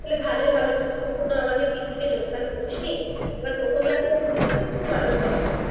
তাহলে ভালোই হবে তুই তো কখনো আমাদের পিকনিকে যোগদান করিসনি এবার প্রথমবার করবি দেখবি খুব আনন্দ হবে